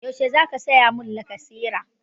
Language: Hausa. Yaushe za ka saya mun lacasera?